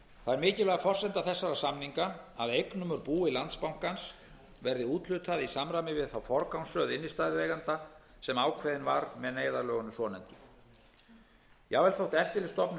það er mikilvæg forsenda þessara samninga að eignum úr búi landsbankans verði úthlutað í samræmi við þá forgangsröð innstæðueigenda sem ákveðin var með neyðarlögunum svonefndu jafnvel þótt eftirlitsstofnun